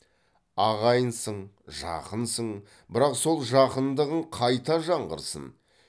ағайынсың жақынсың бірақ сол жақындығың қайта жаңғырсын